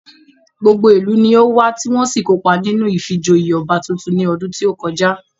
Gbogbo ìlú ni ówá tí wọ́n sì kópa nínú ìfijoyè ọba tuntun ní ọdún tí ó kọjá